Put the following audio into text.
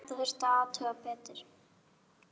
Þetta þurfti að athuga betur.